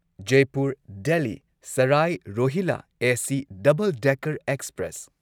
Jaipur Delhi Sarai Rohilla AC double decker express